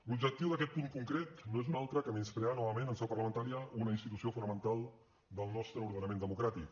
l’objectiu d’aquest punt concret no és un altre que menysprear novament en seu parlamentària una institució fonamental del nostre ordenament democràtic